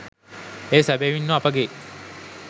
එය සැබැවින්ම අපගේ